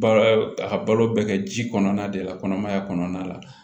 Ba a ka balo bɛ kɛ ji kɔnɔna de la kɔnɔmaya kɔnɔna la